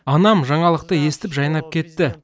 анам жаңалықты естіп жайнап кетті